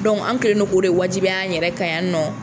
an kɛlen no k'o le wajibiya an yɛrɛ ka yan nɔ.